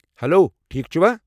Hello. ٹھیٖکھ چھِوا؟